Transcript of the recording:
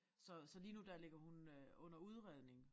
Så så lige nu der ligger hun øh under udredning